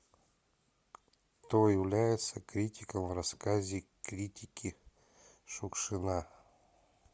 кто является критиком в рассказе критики шукшина